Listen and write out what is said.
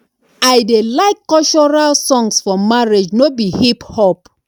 i dey like cultural songs for marriage no be hip hop